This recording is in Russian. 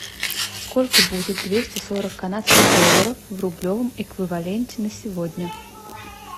сколько будет двести сорок канадских долларов в рублевом эквиваленте на сегодня